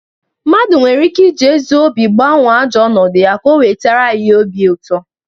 Mmadu nwere ike iji ezi obi gbanwo ajo onodu ya ka o wetara ya ihe obiuto.